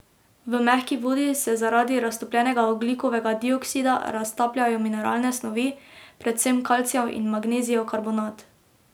V mehki vodi se zaradi raztopljenega ogljikovega dioksida raztapljajo mineralne snovi, predvsem kalcijev in magnezijev karbonat.